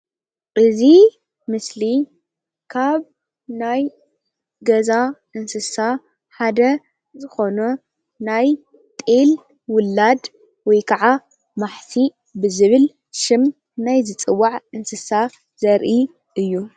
እዚ ምስሊ ካብ ናይ ገዛ እንስሳ ሓደ ዝኾነ ናይ ጤል ውላድ ወይከዓ ማሕሲእ ብዝብል ሽም ናይ ዝፅዋዕ እንስሳ ዘርኢ እዩ።